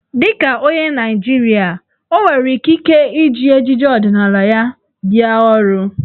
Dị ka onye Naịjirịa, o nwere ikike iji ejiji ọdịnaala ya bịa ọrụ.